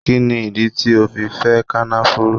Kini idi ti o fẹ Kànáfùrù